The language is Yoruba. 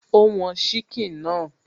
Ó wọn síkìn náà